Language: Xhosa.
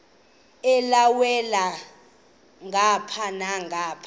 elhavela ngapha nangapha